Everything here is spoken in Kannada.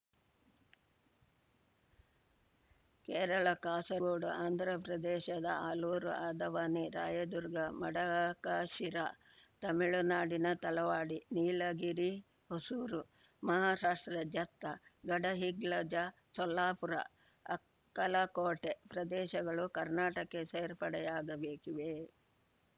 ಕೇರಳ ಕಾಸರಗೋಡು ಆಂಧ್ರಪ್ರದೇಶದ ಆಲೂರು ಆದವಾನಿ ರಾಯದುರ್ಗ ಮಡಕಶಿರಾ ತಮಿಳುನಾಡಿನ ತಳವಾಡಿ ನೀಲಗಿರಿ ಹೊಸೂರು ಮಹಾರಾಷ್ಟ್ರದ ಜತ್ತ ಗಡಹಿಂಗ್ಲಜ ಸೊಲ್ಲಾಪುರ ಅಕ್ಕಲಕೋಟೆ ಪ್ರದೇಶಗಳು ಕರ್ನಾಟಕಕ್ಕೆ ಸೇರ್ಪಡೆಯಾಗಬೇಕಿವೆ